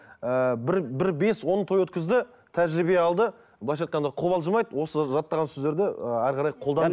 ыыы бір бір бес он той өткізді тәжірибе алды быйлайша айтқанда қобалжымайды осы жаттаған сөздерді ы әрі қарай